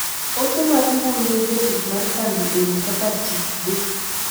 Ote mar mbui ne jatich mar kambi ewi kaka tich dhi.